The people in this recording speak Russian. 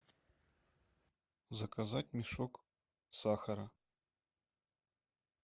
заказать мешок сахара